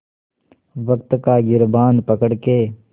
वक़्त का गिरबान पकड़ के